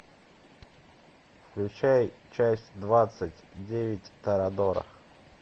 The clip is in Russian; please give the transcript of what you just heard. включай часть двадцать девять торадора